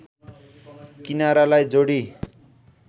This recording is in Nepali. किनारालाई जोडी